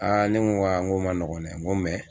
Aa ne ko a nko ma nɔgɔ dɛ n ko